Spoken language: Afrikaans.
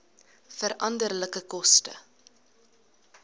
veranderlike koste